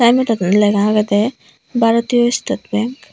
ene daw lega agede Bharatiya State Bank.